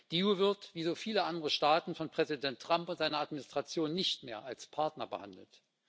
Die EU wird, wie so viele andere Staaten, von Präsident Trump und seiner Administration nicht mehr als Partner behandelt.